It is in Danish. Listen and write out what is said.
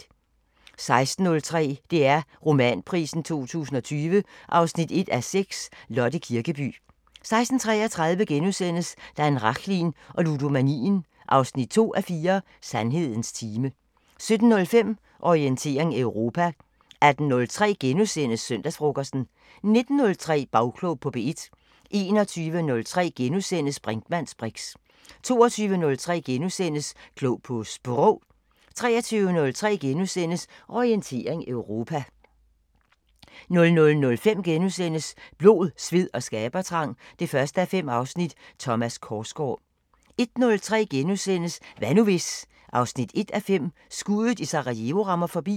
16:03: DR Romanprisen 2020 1:6 – Lotte Kirkeby 16:33: Dan Rachlin og ludomanien 2:4 – Sandhedens time * 17:05: Orientering Europa 18:03: Søndagsfrokosten * 19:03: Bagklog på P1 21:03: Brinkmanns briks * 22:03: Klog på Sprog * 23:03: Orientering Europa * 00:05: Blod, sved og skabertrang 1:5 – Thomas Korsgaard * 01:03: Hvad nu hvis...? 1:5 – Skuddet i Sarajevo rammer forbi *